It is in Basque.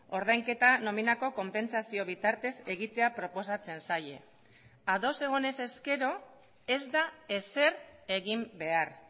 ordainketa nominako konpentsazio bitartez egitea proposatzen zaie ados egon ez ezkero ez da ezer egin behar